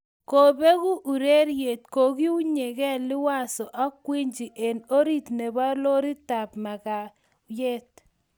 kobeku ureryet kokiunygei Liwazo ak Gwiji eng orit nebo loritab makayek